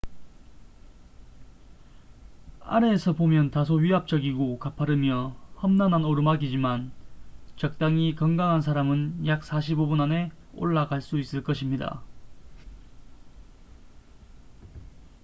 아래에서 보면 다소 위압적이고 가파르며 험난한 오르막이지만 적당히 건강한 사람은 약 45분 안에 올라갈 수 있을 것입니다